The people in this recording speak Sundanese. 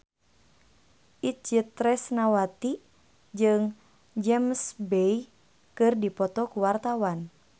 Itje Tresnawati jeung James Bay keur dipoto ku wartawan